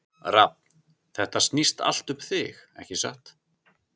Rafn, þetta snýst allt um þig, ekki satt?